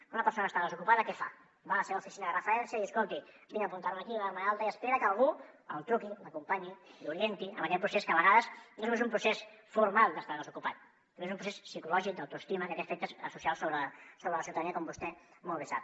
quan una persona està desocupada què fa va a la seva oficina de referència a dir escolti vinc a apuntar me aquí a donar me d’alta i espera que algú li truqui l’acompanyi l’orienti en aquest procés que a vegades no és només un procés formal d’estar desocupat sinó que també és un procés psicològic d’autoestima que té efectes socials sobre la ciutadania com vostè molt bé sap